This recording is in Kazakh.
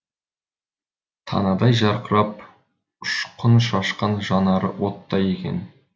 танадай жарқырап ұшқын шашқан жанары оттай екен